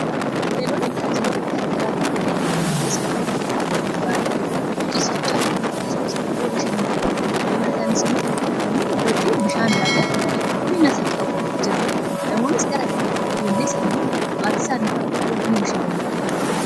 Hoteelonni tajaajilawwan garagaraa kennuun beekama. Kunis kan akka nyaataa fi dhugaatii iddoo ciisichaa akkasumas immoo iddoo bashannanaawwan immoo namoonni iddootti bishaan kan qulqullinni isaa qabu jira. Namoonnis gara kanatti ijoollee isaaniifi maatii isaanii faana dhufuun ni bishannanu.